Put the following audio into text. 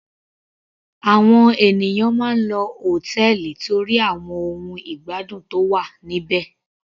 Àwọn ènìyàn máa ń lọ hòtẹ́ẹ̀lì torí àwọn ohun ìgbádùn tó wà níbẹ̀.